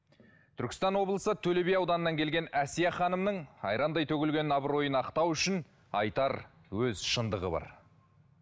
түркістан облысы төле би ауданынан келген әсия ханымның айрандай төгілген абыройын ақтау үшін айтар өз шындығы бар